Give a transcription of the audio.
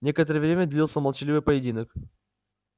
некоторое время длился молчаливый поединок